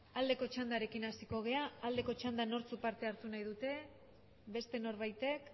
aldeko txandarekin hasiko gera aldeko txandan nortzuk parte hartu nahi dute beste norbaitek